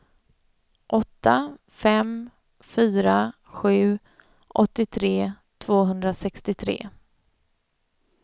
åtta fem fyra sju åttiotre tvåhundrasextiotre